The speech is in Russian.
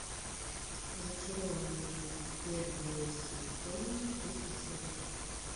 зачарованные первый сезон третья серия